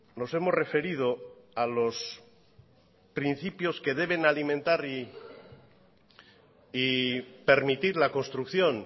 nos hemos referido a los principios que deben alimentar y permitir la construcción